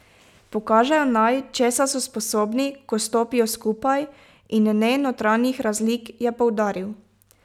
Pokažejo naj, česa so sposobni, ko stopijo skupaj, in ne notranjih razlik, je poudaril.